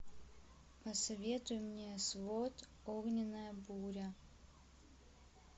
посоветуй мне свод огненная буря